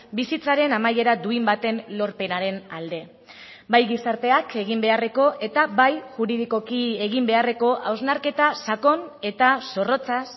bizitzaren amaiera duin baten lorpenaren alde bai gizarteak egin beharreko eta bai juridikoki egin beharreko hausnarketa sakon eta zorrotzaz